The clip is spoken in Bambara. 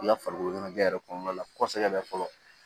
I ka farikoloɲɛnajɛ yɛrɛ kɔnɔna la kosɛbɛ fɔlɔ